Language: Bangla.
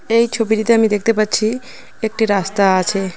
এই ছবিটিতে আমি দেখতে পাচ্ছি একটি রাস্তা আছে।